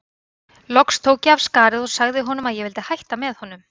Loks tók ég af skarið og sagði honum að ég vildi hætta með honum.